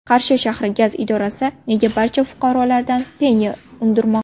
Qarshi shahri gaz idorasi nega barcha fuqarolardan penya undirmoqda?.